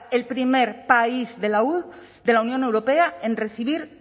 el primer país de la unión europea en recibir